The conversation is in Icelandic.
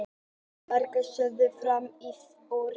Margrét: Sérðu fram úr þessu?